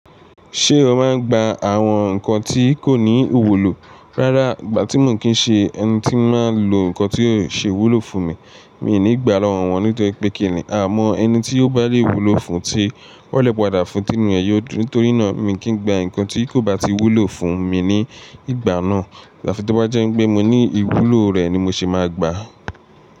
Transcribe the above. Ṣé o máa ń gba àwọn nǹkan tí kò ní ìwúlò? Rárá, ìgbà tí mo kì í ṣe ẹni tí máa ń lo nǹkan tí yóò ṣe wúlò fún mi, mi ò ní gbà lọ́wọ́ wọn nítorí pé kì ní àmọ́ ẹni tí ó bá lè wúlò fún tí ọ́lẹ̀ padà fún tí inú ẹ yóò dùn. Nítorí náà, mi kìí gba nǹkan tí kò bá ti wúlò fún mi ní ìgbà náà afì tí ó bá jẹ́ pé mo ní ìwúlò rẹ̀ ni mo ṣe máa gbà.